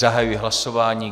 Zahajuji hlasování.